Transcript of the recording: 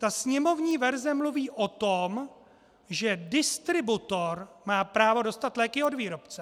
Ta sněmovní verze mluví o tom, že distributor má právo dostat léky od výrobce.